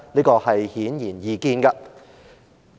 這是顯然易見的。